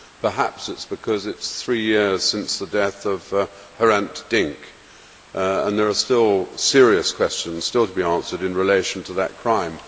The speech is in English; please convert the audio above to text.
Perhaps it is because it is three years since the death of Hrant Dink, and there are still serious questions still to be answered in relation to that crime.